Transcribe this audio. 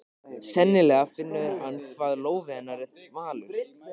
Sennilega finnur hann hvað lófi hennar er þvalur.